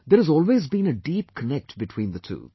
There has always been a deep connect between the two